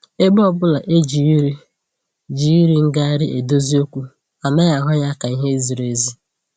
Ebe ọbụla e ji iri ji iri ngarị edozi okwu, anaghị ahụ ya ka ihe ziri ezi